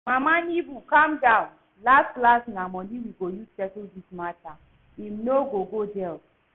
Mama Nebo calm down, las las na money we go use settle dis matter, im no go go jail